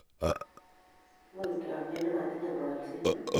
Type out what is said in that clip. Ingoek chamnyet ne matinyei ng'alset.